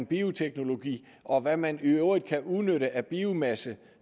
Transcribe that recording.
bioteknologi og hvad man i øvrigt kan udnytte af biomasse